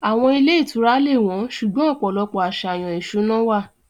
Àwọn ilé ìtura lè wọ́n, ṣùgbọ́n ọ̀pọ̀lọpọ̀ àṣàyàn ìṣúná wà.